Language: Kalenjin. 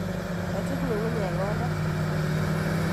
Kochut ngu'ngunyek koda.